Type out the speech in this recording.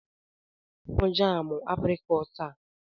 Dosara m jaamụ aprịkọọt a!